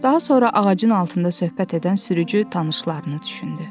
Daha sonra ağacın altında söhbət edən sürücü tanışlarını düşündü.